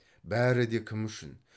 бәрі де кім үшін